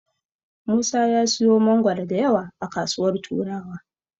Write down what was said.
Musa ya siyo mangoro da yawa a kasuwar Turawa.